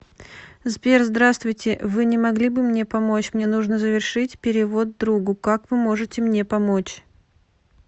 сбер здравствуйте вы не могли бы мне помочь мне нужно завершить перевод другу как вы можете мне помочь